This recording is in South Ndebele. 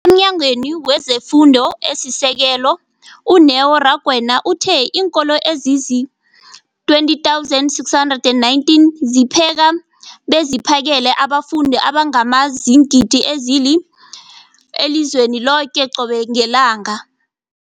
EmNyangweni wezeFundo esiSekelo, u-Neo Rakwena, uthe iinkolo ezizi-20 619 zipheka beziphakele abafundi abangaba ziingidi ezili-9 032 622 elizweni loke qobe ngelanga.